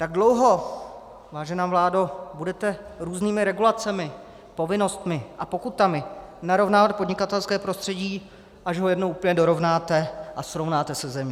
Tak dlouho, vážená vládo, budete různými regulacemi, povinnostmi a pokutami narovnávat podnikatelské prostředí, až ho jednou úplně dorovnáte a srovnáte se zemí.